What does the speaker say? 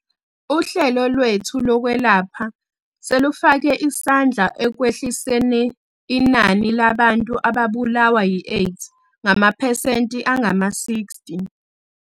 Uhlelo lwethu lokwelapha selufake isandla ekwehliseniinani labantu ababulawa yiAIDS ngamaphesenti angama-60.